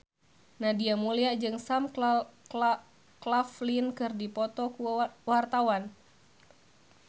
Nadia Mulya jeung Sam Claflin keur dipoto ku wartawan